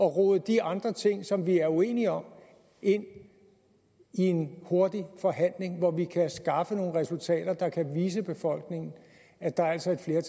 rode de andre ting som vi er uenige om ind i en hurtig forhandling hvor vi kan skaffe nogle resultater der kan vise befolkningen at der altså er